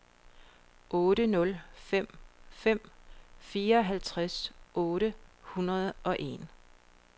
otte nul fem fem fireoghalvtreds otte hundrede og en